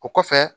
O kɔfɛ